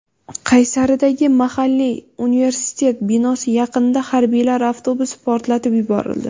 Qaysaridagi mahalliy universitet binosi yaqinida harbiylar avtobusi portlatib yuborildi .